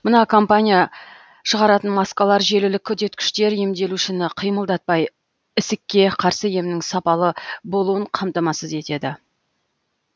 мына компания шығаратын маскалар желілік үдеткіштер емделушіні қимылдатпай ісікке қарсы емнің сапалы болуын қамтамасыз етеді